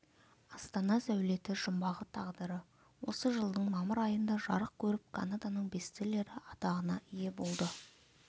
астана сәулеті жұмбағы тағдыры осы жылдың мамыр айында жарық көріп канаданың бестселлері атағына ие болды